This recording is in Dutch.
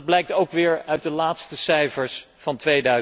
Dat blijkt ook weer uit de laatste cijfers van